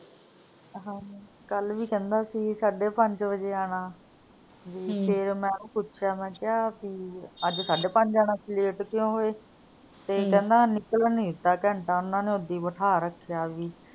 ਕੱਲ ਵੀ ਕਹਿੰਦਾ ਸੀ ਸਾਡੇ ਪੰਜ ਵਜੇ ਆਣਾ ਵੀ ਹਮ ਫੇਰ ਮੈਂ ਉਹਨੂੰ ਪੁੱਛਿਆ ਮੈਂ ਕਿਹਾ ਭੀ ਅੱਜ ਸਾਡੇ ਪੰਜ ਆਣਾ ਸੀ late ਕਿਉਂ ਹੋਏ ਤੇ ਕਹਿੰਦਾ ਨਿਕਲਣ ਨੀ ਦਿੱਤਾ ਘੰਟਾ ਉਹਨਾਂ ਨੇ ਓਦਾਂ ਈ ਬਿਠਾ ਰੱਖਿਆ ਵੀ